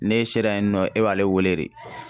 N'e sera yen nɔ e b'ale wele de.